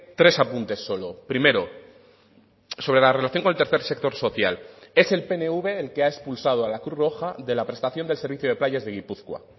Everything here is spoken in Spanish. tres apuntes solo primero sobre la relación con el tercer sector social es el pnv el que ha expulsado a la cruz roja de la prestación del servicio de playas de gipuzkoa